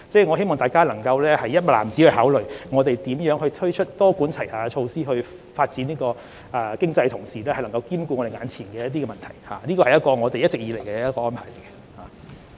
我希望大家能夠"一籃子"考慮我們如何多管齊下，在發展經濟的同時，兼顧眼前的問題，這是我們一直以來的理念。